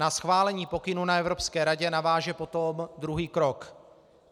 Na schválení pokynů na Evropské radě naváže potom druhý krok.